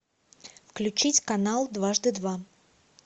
включить канал дважды два